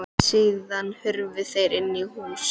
Síðan hurfu þeir inn í hús.